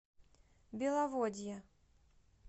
беловодье